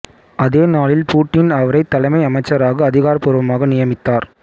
அதே நாளில் பூட்டின் அவரை தலைமை அமைச்சராக அதிகாரபூர்வமாக நியமித்தார்